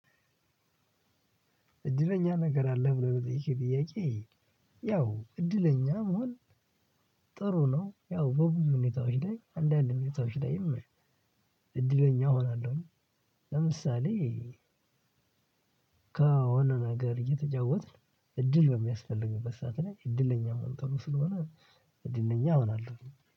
እድለኛ ነገር አለህ? ብሎ ለጠየቅሽኝ ጥያቄ ያው እድለኛ መሆን ጥሩ ነው። ያው በብዙ ሁኔታዎች ላይ አንዳንድ ሁኔታዎች ላይም እድለኛ እሆናለሁኝ። ለምሳሌ ከሆነ ነገር እየተጫወትን እድል በሚያስፈልግበት ሰዓት ላይ እድለኛ መሆን ጥሩ ስለሆነ እድለኛ እሆናለሁኝ።